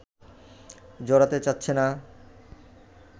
জড়াতে চাচ্ছে না